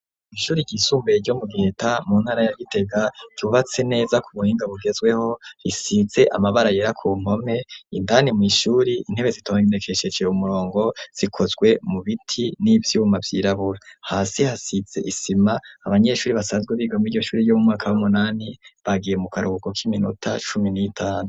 Mw' ishuri ry'isumbuye ryo mu giheta mu ntara ya gitega ryubatse neza ku buhinga bugezweho risize amabara yera ku npome indani mw'ishuri intebe zitondekesheje umurongo zikozwe mu biti n'ivyuma vyirabura hasi hasize isima abanyeshure basanzwe biga muri iryo shure ryo mu mwaka w'umunani bagiye mu karuhuko k'iminota cumi n'itanu.